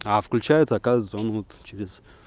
а включается оказывается он вот через